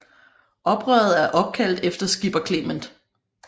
Oprøret er opkaldt efter Skipper Clement